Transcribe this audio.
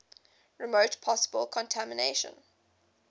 remove possible contamination